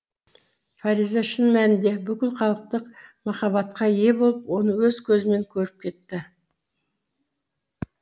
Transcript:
фариза шын мәнінде бүкіл халықтық махаббатқа ие болып оны өз көзімен көріп кетті